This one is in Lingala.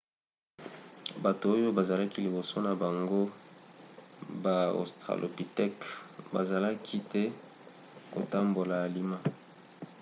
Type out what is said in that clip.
bato oyo bazalaki liboso na bango baaustralopithèque bazalaki te kotambola alima